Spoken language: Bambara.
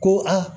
Ko a